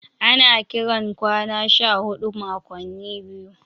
Ana kiran kwana 14 makwanni biyu.